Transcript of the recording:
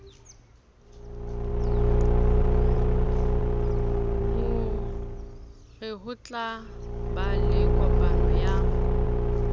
ho rehotla ba lekopano ya